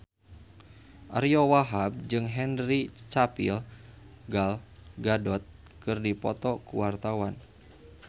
Ariyo Wahab jeung Henry Cavill Gal Gadot keur dipoto ku wartawan